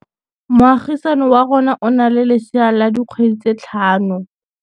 Moagisane wa rona o na le lesea la dikgwedi tse tlhano.